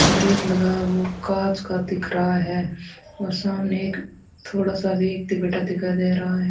का गेट लगा है वो कांच का दिख रहा है और सामने एक थोड़ा सा व्यक्ति बैठा दिखाई दे रहा है।